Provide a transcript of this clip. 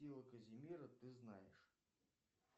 казимира ты знаешь